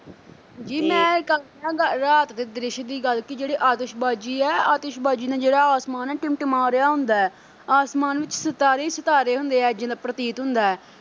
ਜੀ ਮੈਂ ਗੱਲ ਕਰਾਂ, ਰਾਤ ਦੇ ਦ੍ਰਿਸ਼ ਦੀ ਗੱਲ ਕੀ ਜਿਹੜੀ ਆਤਿਸ਼ਬਾਜੀ ਐ ਆਤਿਸ਼ਬਾਜੀ ਨਾ ਜਿਹੜਾ ਆਸਮਾਨ ਐ ਟਿਮਟਿਮਾ ਰਿਹਾ ਹੁੰਦੈ ਆਸਮਾਨ ਵਿੱਚ ਸਿਤਾਰੇ ਹੀ ਸਿਤਾਰੇ ਹੁੰਦੇ ਐ ਇੰਝ ਪ੍ਰਤੀਤ ਹੁੰਦੈ।